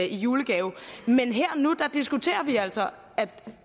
julegave men her og nu diskuterer vi altså at